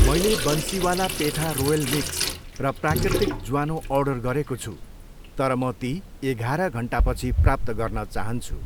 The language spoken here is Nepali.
मैले बन्सिवाला पेठा रोयल मिक्स र प्राकृतिक ज्वानो अर्डर गरेको छु तर म ती एघाह्र घन्टापछि प्राप्त गर्न चाहन्छु।